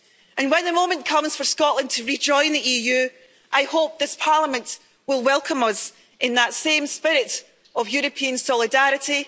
When the moment comes for Scotland to re-join the EU, I hope this Parliament will welcome us in that same spirit of European solidarity.